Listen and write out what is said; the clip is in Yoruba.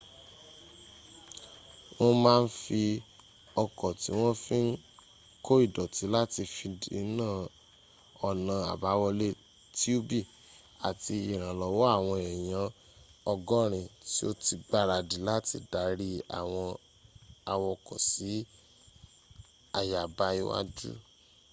wọ́n m a n fi ọkọ̀ ti won fi n ko ìdọ̀tí láti fi dína ọ̀nà abáwọlé tiubi àti ìrànlọ́wọ́ awon eyan 80 ti o ti gbaradi láti dari àwọn awokọ̀ si àyàbá iwájú